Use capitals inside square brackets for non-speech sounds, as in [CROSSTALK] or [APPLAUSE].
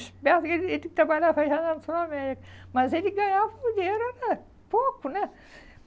Esperto, ele ele trabalhava já na [UNINTELLIGIBLE] América, mas ele ganhava dinheiro era pouco, né?